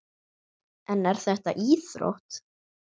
En er þetta íþrótt?